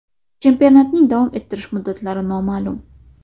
Chempionatning davom ettirish muddatlari noma’lum.